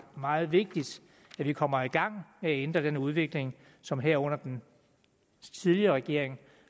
meget vigtigt at vi kommer i gang med at ændre den udvikling som herunder den tidligere regering